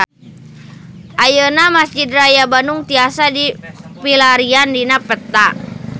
Ayeuna Mesjid Raya Bandung tiasa dipilarian dina peta